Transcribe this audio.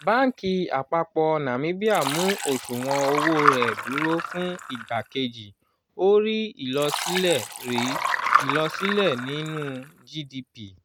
báńkì àpapọ̀ nàmíbíà mu osuwon owó rẹ̀ dúró fún ìgbà kejì ó rí ilosile rí ilosile nínú gdp